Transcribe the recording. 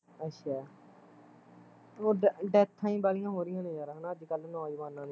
ਅੱਛਾ ਉ ਡੈ ਡੈਥਾਂ ਈ ਵਾਲੀਆ ਹੋ ਰਹੀਆ ਨੇ ਯਾਰ ਹੈਨਾ ਅੱਜ ਕੱਲ ਨੋਜਵਾਨਾਂ ਦੀਆ